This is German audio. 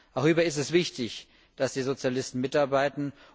Auch hierbei ist es wichtig, dass die Sozialisten mitarbeiten.